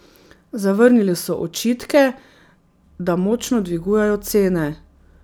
Zavrnili so očitke, da močno dvigujejo cene.